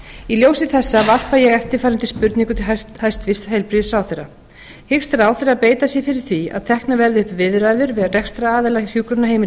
í ljósi þessa varpa ég eftirfarandi spurningu til hæstvirts heilbrigðisráðherra hyggst ráðherra beita sér fyrir því að teknar verði upp viðræður við rekstraraðila hjúkrunarheimilisins